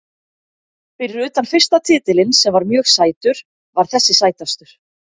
Fyrir utan fyrsta titilinn sem var mjög sætur var þessi sætastur.